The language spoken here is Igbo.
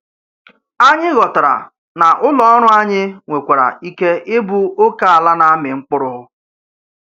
Ányị̀ ghọ̀tárà nà ụ́lọ̀ọ́rụ̀ ányị̀ nwèkwàrà íkè íbụ́ ókèàlá nà-àmị̀ mkpụrụ̀.